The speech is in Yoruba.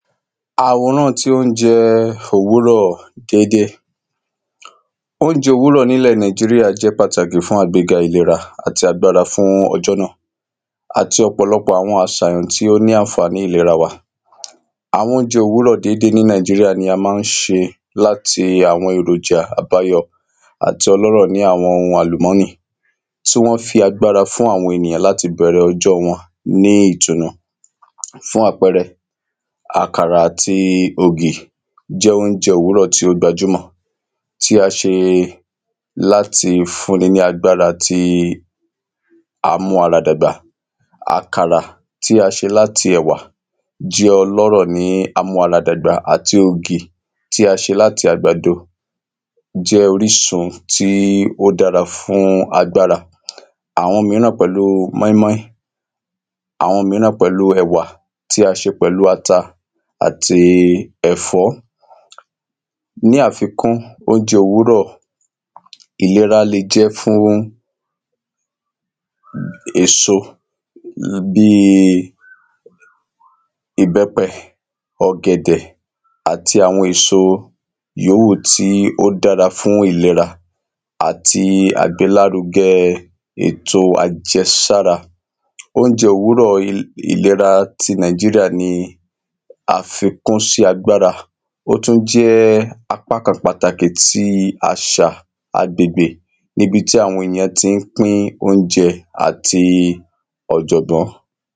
àwòran ti óúnjẹ òwúrọ̀ déedée óúnjẹ òwúrọ̀ nílẹ Nàìjíríà jẹ́ pàtàkì fún àgbéga ìlera àti agbára fún ọjọ́ náà àti ọ̀pọ̀lọpọ̀ àwọn àṣàyàn tí ó ní ìlera wa àwọn óúnjẹ òwúrọ̀ déédé ní Nàìjíríà ni a ma ń ṣe láti àwọn èròjà àbáyọ àti ọlọ́rọ̀ ni àwọn ohun àlùmọ́nì tí wọ́n fi agbára fún àwọn ènìyàn láti bẹ̀rẹ ọjọ́ wọn ní ìtùnú fún àpẹrẹ àkàrà àti ògì jẹ́ óúnjẹ òwúrọ̀ tí ó gbajúmọ̀, tí a ṣe láti fún ni lágbára tí á mú ara dàgbà àkàrà tí a ṣe láti ẹ̀wà jẹ́ ọlọ́rọ̀ ni amú ara dàgbà àti ògì tí a ṣe láti àgbàdo jẹ́ orísun tí ó dára fún agbára àwọn míràn pẹ̀lú mọ́í-mọ́í, àwọn míràn pẹ̀lú ẹ̀wà tí a ṣe pẹ̀lú ata àti ẹ̀fọ́ ni àfikún, óúnjẹ òwúrọ̀ ìlera lè jẹ́ fún èso bíi ìbẹ́pẹ, ọ̀gẹ̀dẹ̀, àti àwọn èso ìyówù tí ó dára fún ìlera àti àgbélárugẹ ètò àjẹsára, óúnjẹ òwúrọ̀ ìlera ti Nàìjíríà ní àfikún sí agbára ó tún jẹ́ apákan pàtàkì tí àṣà agbègbè, níbi tí àwọn èyàn ti ń pín óúnjẹ àti ọ̀jọ̀gbọ́n